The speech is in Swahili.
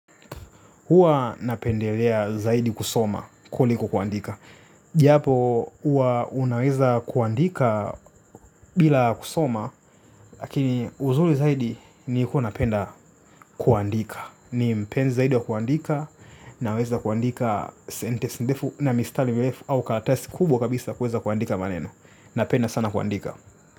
Huwa napendelea zaidi kusoma kuliko kuandika. Japo huwa unaweza kuandika bila kusoma. Lakini uzuri zaidi ni huwa napenda kuandika. Ni mpenzi zaidi wa kuandika. Naweza kuandika sentensi ndefu na mistari mirefu. Au karatasi kubwa kabisa kuweza kuandika maneno. Napenda sana kuandika.